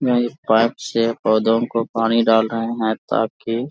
वे इस पाइप से पौधों को पानी डाल रहे हैं ताकि --